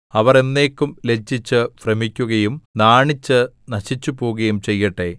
അവർ എന്നേക്കും ലജ്ജിച്ച് ഭ്രമിക്കുകയും നാണിച്ച് നശിച്ചുപോകുകയും ചെയ്യട്ടെ